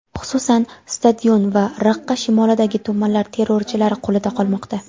Xususan, stadion va Raqqa shimolidagi tumanlar terrorchilar qo‘lida qolmoqda.